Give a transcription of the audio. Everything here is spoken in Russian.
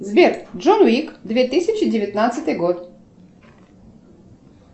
сбер джон уик две тысячи девятнадцатый год